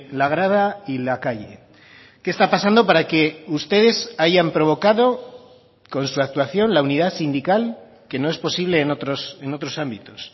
la grada y la calle qué está pasando para que ustedes hayan provocado con su actuación la unidad sindical que no es posible en otros ámbitos